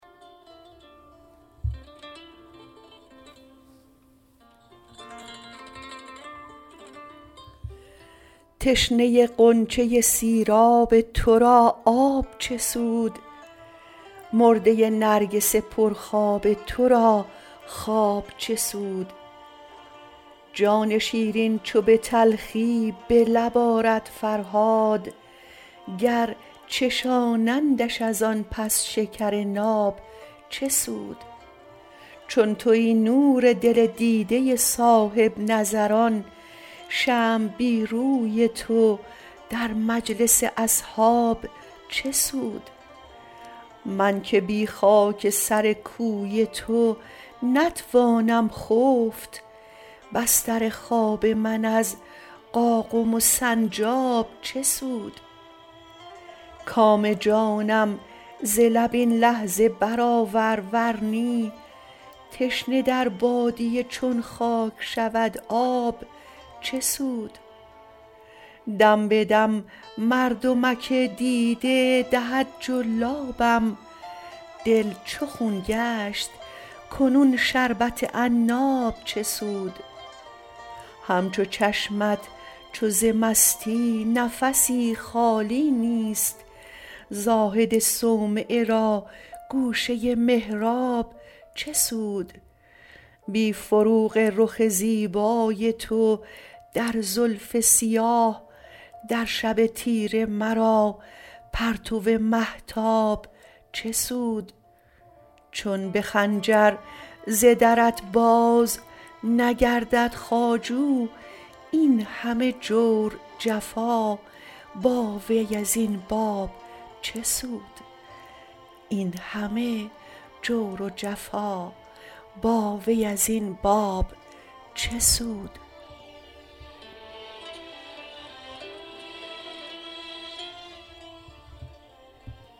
تشنه ی غنچه ی سیراب ترا آب چه سود مرده ی نرگس پر خواب ترا خواب چه سود جان شیرین چو بتلخی بلب آرد فرهاد گر چشانندش از آن پس شکر ناب چه سود چون تویی نور دل دیده ی صاحب نظران شمع بی روی تو در مجلس اصحاب چه سود منکه بی خاک سر کوی تو نتوانم خفت بستر خواب من از قاقم و سنجاب چه سود کام جانم ز لب این لحظه برآور ورنی تشنه در بادیه چون خاک شود آب چه سود دمبدم مردمک دیده دهد جلابم دل چو خون گشت کنون شربت عناب چه سود همچو چشمت چو ز مستی نفسی خالی نیست زاهد صومعه را گوشه ی محراب چه سود بی فروغ رخ زیبای تو در زلف سیاه در شب تیره مرا پرتو مهتاب چه سود چون بخنجر ز درت باز نگردد خواجو اینهمه جور جفا باوی ازین باب چه سود